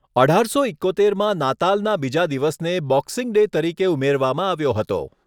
અઢારસો ઈકોતેરમાં નાતાલના બીજા દિવસને, બોક્સિંગ ડે તરીકે ઉમેરવામાં આવ્યો હતો.